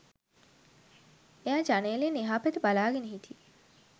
එයා ජනෙලෙන් එහා පැත්ත බලාගෙන හිටියෙ